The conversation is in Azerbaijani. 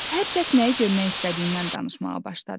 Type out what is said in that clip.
Hər kəs nəyi görmək istədiyindən danışmağa başladı.